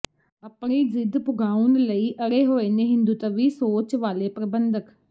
ਅਪਣੀ ਜ਼ਿਦ ਪੁਗਾਉਣ ਲਈ ਅੜੇ ਹੋਏ ਨੇ ਹਿੰਦੂਤਵੀ ਸੋਚ ਵਾਲੇ ਪ੍ਰਬੰਧਕ